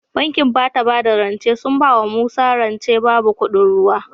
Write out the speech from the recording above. Bankin bada bada rance sun bawa musa rance babu kuɗin ruwa